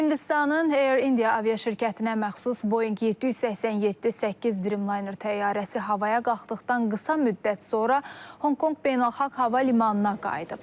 Hindistanın Air India aviaşirkətinə məxsus Boeing 787-8 Dreamliner təyyarəsi havaya qalxdıqdan qısa müddət sonra Honkonq Beynəlxalq Hava Limanına qayıdıb.